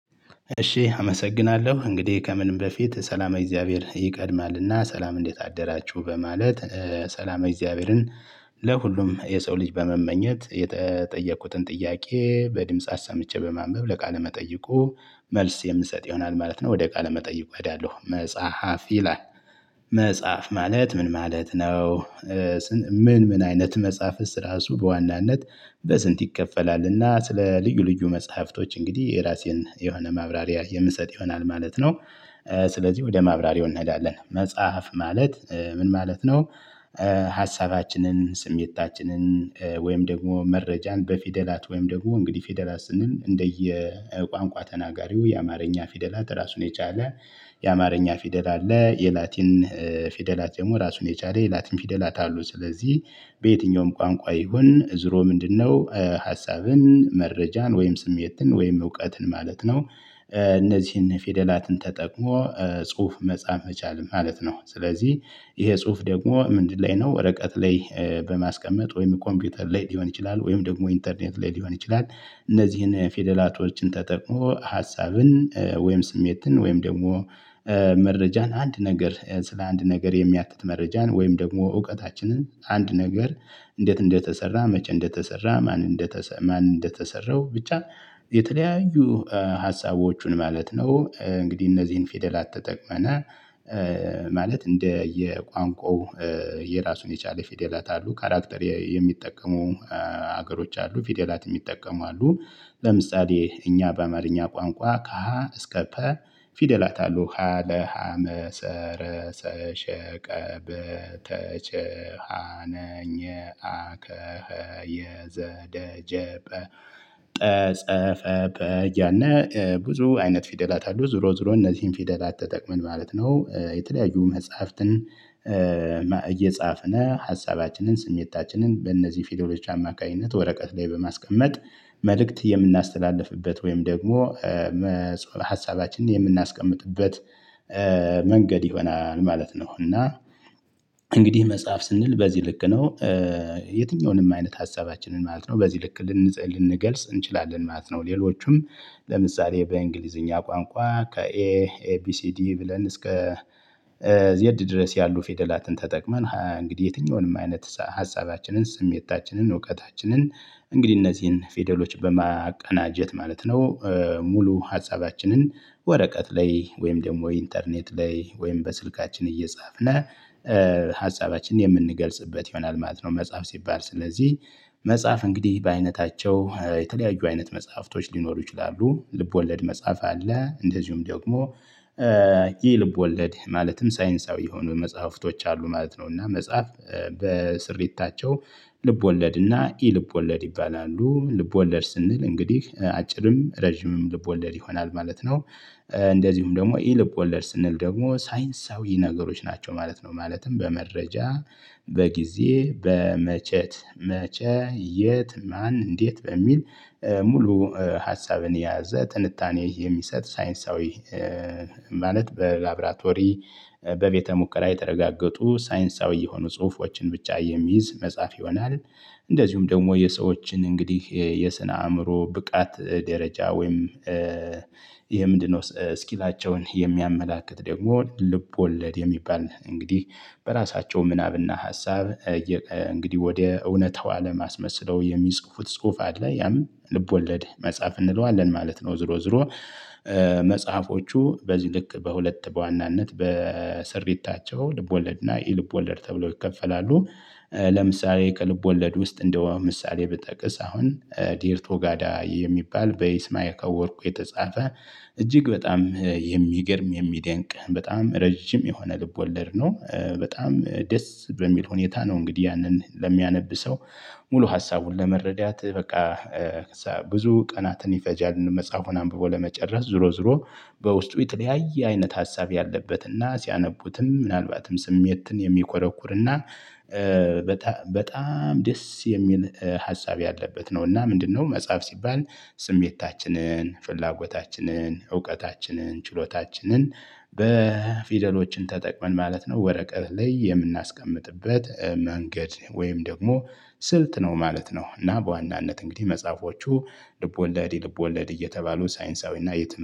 እሺ አመሰግናለሁ እንግዲህ ከምንም በፊት ሰላመ እግዚአብሔር ይቀድማልና ሰላም እንዴት አደራችሁ በማለት ሰላማ እግዚአብሔርን። ለሁሉም የሰው ልጅ በመመኘት የተጠየቅኩትን ጥያቄ በድምጽ አሰምቼ በማንበብ ለቃለ መጠይቁ መልስ የምሰጥ ይሆናል ማለት ነው ወደ ቃለ መጠይቁ እህዳለሁ መጽሐፍ ይላል። መጽሐፍ ማለት ምን ማለት ነው? ምን ምን አይነት መጽሐፍእስ እራሱ ሱብ በዋናነት በስንት ይከፈላልና? ስለ ልዩ ልዩ መጽሐፍቶች እንግዲህ የራሴን የሆነ ማብራሪያ የምሰጥ ይሆናል ማለት ነው። ስለዚህ ወደ ማብራሪያው እንህዳለን መጽሐፍ ማለት ምን ማለት ነው? ሀሳባችንን ስሜታችንን ወይም ደግሞ መረጃን በፊደላት ወይም ደግሞ እንግዲህ ፊደላት ስንል እንደየ ቋንቋ ተናጋሪው የአማርኛ ፊደላት ራሱን የቻለ የአማርኛ ፊደላት አለ። የላቲን ፊደላት ደሞ ራሱን የቻለ የላቲን ፊደላት አሉ። ስለዚህ በየትኛውም ቋንቋ ይሁን እዝሮ ምንድነው ሀሳብን መረጃን ወይም ስሜትን ወይም እውቀትን ማለት ነው። እነዚህን ፊደላትን ተጠቅሞ ጽሁፍ መጻፍ መቻል ማለት ነው። ስለዚህ ይሄ ጽሁፍ ደግሞ ምንድን ላይ ነው ወረቀት ላይ በማስቀመጥ ወይም ኮምፒውተር ላይ ሊሆን ይችላል ወይም ደግሞ ኢንተርኔት ላይ ሊሆን ይችላል። እነዚህን ፊደላቶችን ተጠቅሞ ሀሳብን ወይም ስሜትን ወይም ደግሞ መረጃን አንድ ነገር ስለ አንድ ነገር የሚያትት መረጃን ወይም ደግሞ እውቀታችንን አንድ ነገር እንዴት እንደተሰራ መቸ እንደተሰራ ማን እንደተሰራ ማን እንደተሰራው ብቻ የተለያዩ ሀሳቦቹን ማለት ነው። እንግዲህ እነዚህን ፊደላት ተጠቅመነ ማለት እንደየ ቋንቋው የራሱን የቻለ ፊደላት አሉ። ካራክተር የሚጠቀመው ሀገሮች አሉ ፊደላትን ሚጠቀሙ አሉ። ለምሳሌ እኛ በአማርኛ ቋንቋ ከሀ እስከ ፐ ፊደላት አሉ ሀ ለ ሀ መ ሰ ረ ሰ ሸ ቀ በ ተ ቸ አ ነ ኘ አ ከ ህ የ ዘ ደ ከ የ ዘ ደ ጀ ጠ ጸ ፈ በ ያነ ብዙ አይነት ፊደላት አሉ። ዙሮ ዙሮ እነዚህን ፊደላት ተጠቅመን ማለት ነው የተለያዩ መጽሐፍትን እየጻፍነ ሀሳባችንን ስሜታችንን በእነዚህ ፊደሎጂ አማካኝነት ወረቀት ላይ በማስቀመጥ መልእክት የምናስተላልፍበት ወይም ደግሞ ሀሳባችንን የምናስቀምጥበት መንገድ ይሆናል ማለት ነው። እና እንግዲህ መጽሐፍ ስንል በዚህ ልክ ነው። የትኛውንም አይነት ሀሳባችንን ማለት ነው በዚህ ልክ ልንጸል ልንገልጽ እንችላለን ማለት ነው። ሌሎቹም ለምሳሌ በእንግሊዝኛ ቋንቋ ከኤ ኤቢሲዲ ብለን እስከ ዜድ ድረስ ያሉ ፌደላትን ተጠቅመን እንግዲህ የትኛውንም አይነት ሀሳባችንን ስሜታችንን እውቀታችንን እንግዲህ እነዚህን ፌደሎች በማቀናጀት ማለት ነው ሙሉ ሀሳባችንን ወረቀት ላይ ወይም ደግሞ ኢንተርኔት ላይ ወይም በስልካችን እየጻፍነህ ሀሳባችን የምንገልጽበት ይሆናል ማለት ነው። መጽሐፍ ሲባል ስለዚህ መጽሐፍ እንግዲህ በአይነታቸው የተለያዩ አይነት መጽሐፍቶች ሊኖሩ ይችላሉ ልብ ወለድ መጽሐፍ አለ። እንደዚሁም ደግሞ ይህ ልብ ወለድ ማለትም ሳይንሳዊ የሆኑ መጽሐፍቶች አሉ ማለት ነው። እና መጽሐፍ በስሪታቸው ልብ ወለድና ኢ ልብ ወለድ ይባላሉ ልብ ወለድ ስንል እንግዲህ አጭርም ረጅምም ልብ ወለድ ይሆናል ማለት ነው። እንደዚሁም ደሞ ኢ ልብ ወለድ ስንል ደግሞ ሳይንሳዊ ነገሮች ናቸው ማለት ነው። ማለትም በመረጃ በጊዜ በመቸት መቸ የት ማን እንዴት በሚል ሙሉ ሀሳብን የያዘ ትንታኔ የሚሰጥ ሳይንሳዊ ማለት በላብራቶሪ በቤተ ሙከራ የተረጋገጡ ሳይንሳዊ የሆኑ ጽሁፎችን ብቻ የሚይዝ መጻፍ ይሆናል። እንደዚሁም ደግሞ የሰዎችን እንግዲህ የስነ አእምሮ ብቃት ደረጃ ወይም የምንድነው ስኪላቸውን የሚያመላክት ደግሞ ልብ ወለድ የሚባል እንግዲህ በራሳቸው ምናብና ሀሳብ እንግዲህ ወደ እውነታው አለም አስመሰለው የሚጽፉት ጽሁፍ አለ ያም ልብ ወለድ መጽሐፍ እንለዋለን ማለት ነው። ዝሮ ዝሮ መጽሐፎቹ በዚህ ልክ በሁለት በዋናነት በስሪታቸው ልቦለድ እና ኢልቦለድ ተብሎ ይከፈላሉ። ለምሳሌ ከልብ ወለድ ውስጥ እንደው ምሳሌ ብጠቅስ አሁን ዴርቶ ጋዳ የሚባል በይስማከ ወርቁ የተጻፈ እጅግ በጣም የሚገርም የሚደንቅ በጣም ረጅም የሆነ ልብ ወለድ ነው። በጣም ደስ በሚል ሁኔታ ነው። እንግዲህ ያንን ለሚያነብ ሰው ሙሉ ሀሳቡን ለመረዳት በቃ ብዙ ቀናትን ይፈጃል መጽሐፉን አንብቦ ለመጨረስ ዝሮ ዝሮ በውስጡ የተለያየ አይነት ሀሳብ ያለበትና ሲያነቡትም ምናልባትም ስሜትን የሚኮረኩርና በጣም ደስ የሚል ሀሳብ ያለበት ነው። እና ምንድነው መጽሐፍ ሲባል ስሜታችንን ፍላጎታችንን እውቀታችንን ችሎታችንን በፊደሎችን ተጠቅመን ማለት ነው ወረቀት ላይ የምናስቀምጥበት መንገድ ወይም ደግሞ ስልት ነው ማለት ነው። እና በዋናነት እንግዲህ መጽሐፎቹ ልቦለድ ኢልቦልድ እየተባሉ ሳይንሳዊና የት